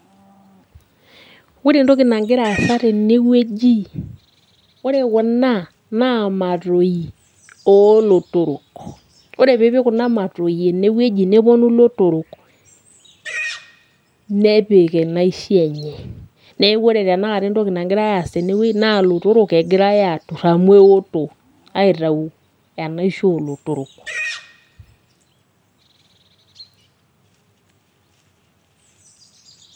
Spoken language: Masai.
Ore entoki nagira aasa tenewueji, ore kuna naa matoi olotorok. Ore pipik kuna matoi enewueji neponu ilotorok, nepik inaishi enye. Neeku ore tanakata entoki nagirai aas tenewei, naa ilotorok egirai atur amu eoto. Aitau enaisho olotorok.